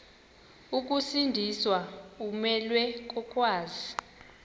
ukusindiswa umelwe kokwazi